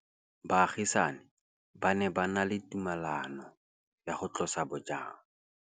Baagisani ba ne ba na le tumalanô ya go tlosa bojang.